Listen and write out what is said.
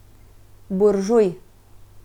Buržuj.